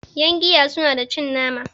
yangiya suna da cin nama